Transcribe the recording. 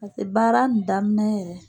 paseke baara in daminɛ yɛrɛ